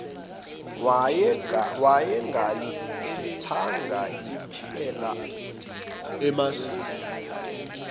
wayengalikhethanga iphela emasini